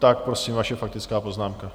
Tak prosím, vaše faktická poznámka.